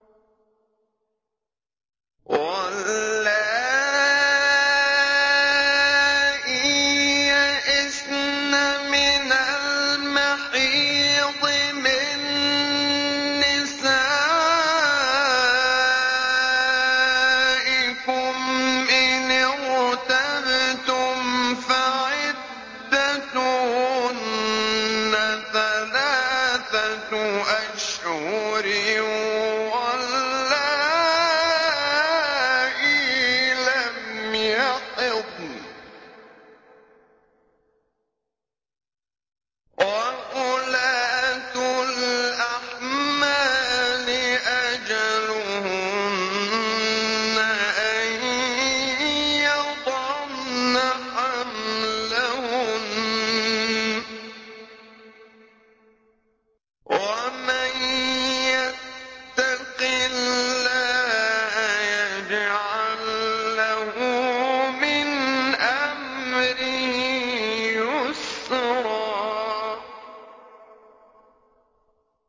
وَاللَّائِي يَئِسْنَ مِنَ الْمَحِيضِ مِن نِّسَائِكُمْ إِنِ ارْتَبْتُمْ فَعِدَّتُهُنَّ ثَلَاثَةُ أَشْهُرٍ وَاللَّائِي لَمْ يَحِضْنَ ۚ وَأُولَاتُ الْأَحْمَالِ أَجَلُهُنَّ أَن يَضَعْنَ حَمْلَهُنَّ ۚ وَمَن يَتَّقِ اللَّهَ يَجْعَل لَّهُ مِنْ أَمْرِهِ يُسْرًا